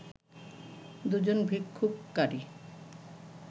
দুজন বিক্ষোভকারী